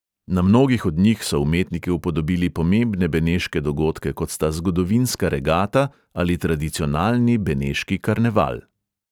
Na mnogih od njih so umetniki upodobili pomembne beneške dogodke, kot sta zgodovinska regata ali tradicionalni beneški karneval.